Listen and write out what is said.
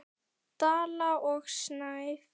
Dala og Snæf.